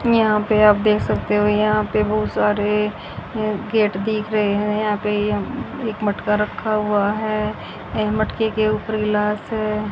यहां पे आप देख सकते हो यहां पे बहुत सारे गेट दिख रहे हैं यहां पे यह एक मटका रखा हुआ है यह मटके के ऊपर गिलास है।